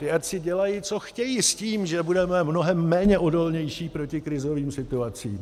Ti ať si dělají, co chtějí, s tím, že budeme mnohem méně odolní proti krizovým situacím.